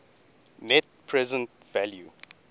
net present value